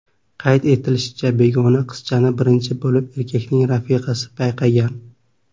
Qayd etilishicha, begona qizchani birinchi bo‘lib erkakning rafiqasi payqagan.